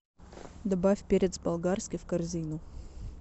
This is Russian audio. добавь перец болгарский в корзину